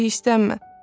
Özün də hirslənmə.